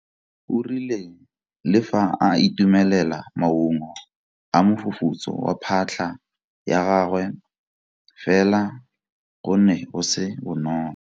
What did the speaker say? O rile le fa a itumelela maungo a mofufutso wa phatlha ya gagwe fela go ne go se bonolo.